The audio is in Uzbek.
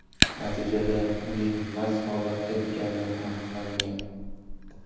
Natijada uning mast holatda ekani aniqlangan.